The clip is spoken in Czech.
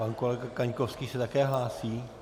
Pan kolega Kaňkovský se také hlásí?